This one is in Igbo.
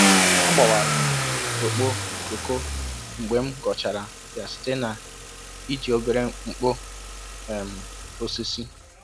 A gbawara m okpo koko mgbe m ghọchara ya site n'iji obere nkpo um osisi.